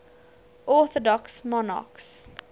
orthodox monarchs